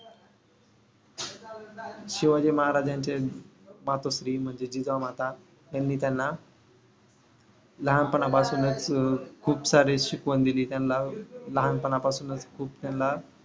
शिवाजी महाराजांचे मातोश्री म्हणजे जिजामाता यांनी त्यांना लहानपणा पासूनच अं खूप सारे शिकवण दिली त्यांना. लहानपणा पासूनच खूप त्यांना